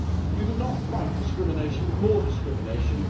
You do not fight discrimination with more discrimination.